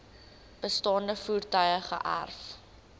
bestaande voertuie geërf